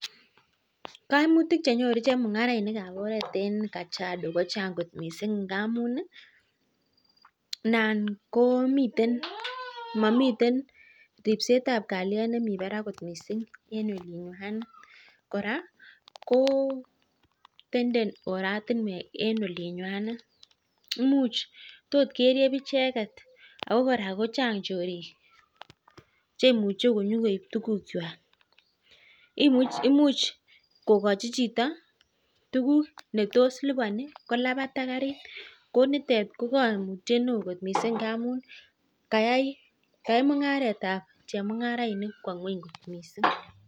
Kaimutik chenyoru chemung'arainik kab oret en kajiado kochang kot missing ngamun ih momiten ribsetab kaliet en olinywanet kora tenden oratuniek en olonyuwanet imuch tot keribe icheket, tokokochi chito netos lubani kolabat . Ak karit nitet ko kaimut neo missing ngamun kayai mung'aret tab chemung'arainik kwo ngueny.